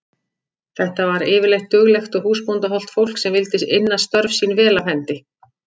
Þetta var yfirleitt duglegt og húsbóndahollt fólk sem vildi inna störf sín vel af hendi.